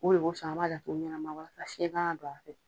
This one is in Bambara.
O le kosɔn a b'a datugu ɲɛnama walasa fiyɛn kana don a fɛ.